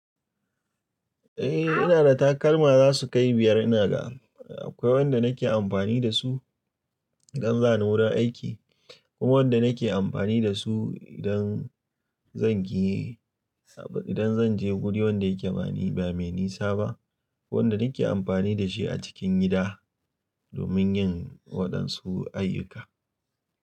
Eh ina da takalma za su kai biyar ina ga. Akwai wanda nake amfani da su idan za ni wurin aiki, ko wanda nake amfani da su idan zan giye, idan zan je wuri wanda yake ba mai nisa ba, kuma wanda nake amfani da shi a cikin gida domin yin waɗansu ayyuka.